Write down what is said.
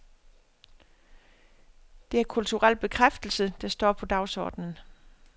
Det er kulturel bekræftelse, der står på dagsordenen.